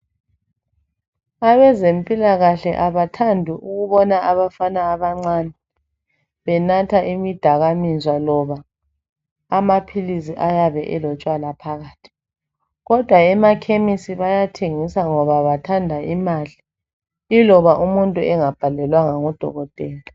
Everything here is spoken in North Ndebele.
Abezempilakahle abathandi ukubona abafana abancane benatha imidakaminzwa loba amaphilizi ayabe elotshwala phakathi, kodwa emakhemisi bayathengisa ngoba bathanda imali, iloba umuntu engabhalelwanga ngudokotela.